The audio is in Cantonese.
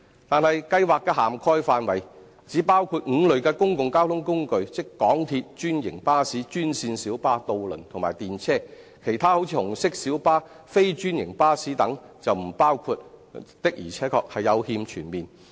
但是，補貼計劃的涵蓋範圍只包括5類公共交通工具，即港鐵、專營巴士、專線小巴、渡輪及電車，其他如紅色小巴、非專營巴士等則沒有包括，的確是有欠全面。